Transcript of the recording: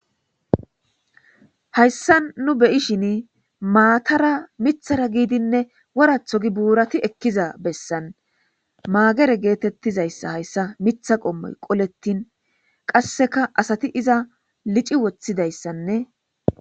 hayssa nu beyishin maatara mithara giidinne woratho gi buurati ekkiza bessan maagere geetettizayssa hayssa mitha qommoy qolettin qasseka asati iza lici woththidayssanne